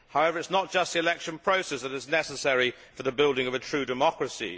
But it is not just the election process that is necessary for the building of a true democracy.